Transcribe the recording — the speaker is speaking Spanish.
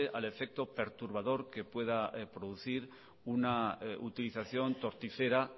al efecto perturbador que pueda producir una utilización torticera